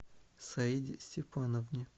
саиде степановне